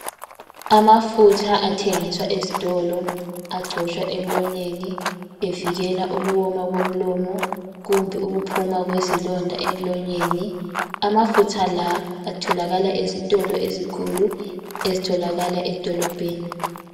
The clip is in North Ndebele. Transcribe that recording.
Amafutha athengiswa ezitolo, agcotshwa emlonyeni evikela ukuwoma komlomo, kumbe ukuphuma kwezilonda emlonyeni. Amafutha la, atholakala ezitolo ezikhulu ezitholakala edolobheni.